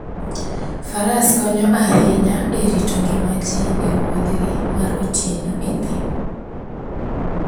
Faras konyo ahinya e rito ngima ji e wuodhgi mar otieno e thim.